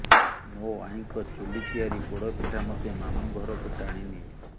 ମୋ ଆଈଙ୍କ ଚୁଲି ତିଆରି ପୋଡ଼ପିଠା ମତେ ମାମୁ ଘରକୁ ଟାଣିନିଏ